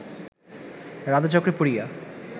রাধাচক্রে পড়িয়া